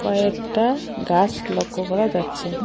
কয়েকটা গাস লক্ষ্য করা যাচ্ছে।